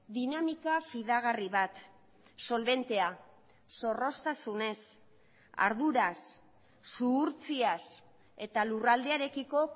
dinamika fidagarri bat solbentea zorroztasunez arduraz zuhurtziaz eta lurraldearekiko